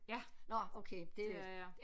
Ja det er jeg